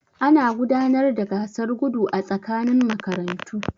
Ana gudanar da gasar gudu a tsakanin makarantu.